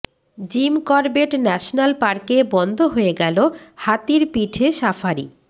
gym Corbett national পার্কে বন্ধ হয়ে গেল হাতির পিঠে সাফারি